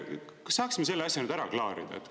" Kas saaksime selle asja nüüd ära klaarida?